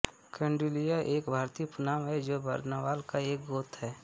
कौन्डिल्य एक भारतीय उपनाम है जो बरनवाल का एक गोत्र हैं